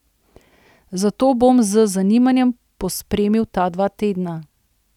Zato bom z zanimanjem pospremil ta dva tedna.